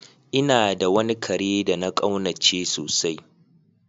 N'na da wani kare de na kaunace sosai.